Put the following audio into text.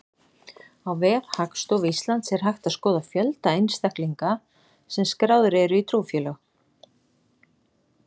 Á vef Hagstofu Íslands er hægt að skoða fjölda einstaklinga sem skráðir eru í trúfélög.